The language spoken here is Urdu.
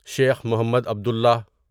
شیخ محمد عبدُللہَ